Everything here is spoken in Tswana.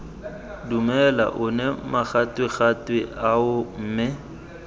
dumela one magatwegatwe ao mme